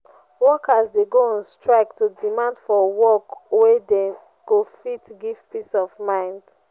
workers de go on strike to demand for work wey go fit give peace of mind